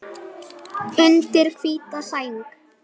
Undir hvíta sæng.